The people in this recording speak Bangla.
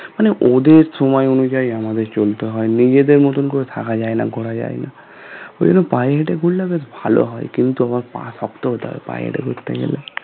মানে ওদের সময় অনুযায়ী আমাদের চলতে হয় নিজেদের মতন করে থাকা যায়না করা ঘোরা যায়না ওখানে পায়ে হেঁটে ঘুরলে বেশ ভালো হয় কিন্তু আবার পা শক্ত হতে হবে পায়ে হেঁটে ঘুরতে গেলে